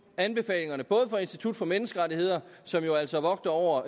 anbefalingerne både fra institut for menneskerettigheder som jo altså vogter over